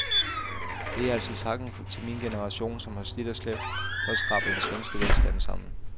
Det er altså takken til min generation, som har slidt og slæbt for at skrabe den svenske velstand sammen.